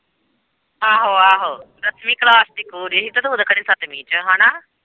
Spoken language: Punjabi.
ਆਹੋ-ਆਹੋ ਦੱਸਵੀਂ ਕਲਾਸ ਦੀ ਕੁੜੀ ਹੀ ਤੇ ਤੂੰ ਤੇ ਕਹਿੰਦੀ ਸੱਤਵੀਂ ਚ ਹਨਾ।